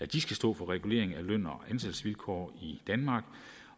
de skal stå for reguleringen af løn og ansættelsesvilkår i danmark